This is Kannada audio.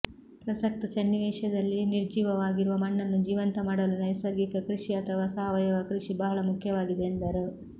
ಪ್ರಸಕ್ತ ಸನ್ನಿವೇಶದಲ್ಲಿ ನಿರ್ಜೀವವಾಗಿರುವ ಮಣ್ಣನ್ನು ಜೀವಂತ ಮಾಡಲು ನೈಸರ್ಗಿಕ ಕೃಷಿ ಅಥವಾ ಸಾವಯವ ಕೃಷಿ ಬಹಳ ಮುಖ್ಯವಾಗಿದೆ ಎಂದರು